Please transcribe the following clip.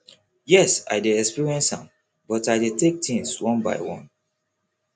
yes i experience am but i dey take things one by one